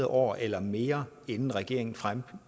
år eller mere inden regeringen fremlægger